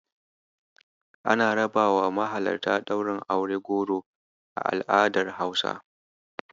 Ana rabawa mahalarta Ɗaurin aure goro a al'adar Hausa.